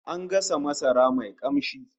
An gasa masara mai kamshi